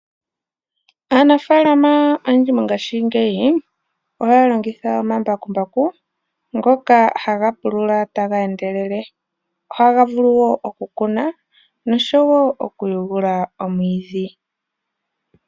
Aanafalama oyendji mongayingeyi ohaya longitha omambakumbaku ngoka haga pulula taga endelele ohaga vuluwo oku kuna noshowo oku vudhamo omwiidhi.